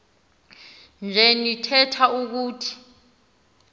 nje nitheth ukuthi